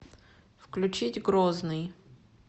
включить грозный